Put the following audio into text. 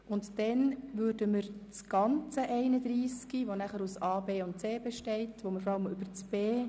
Anschliessend stimmen wir über den gesamten Artikel 31 ab, welcher nachher aus den Artikeln 31a, 31b und 31c bestehen wird.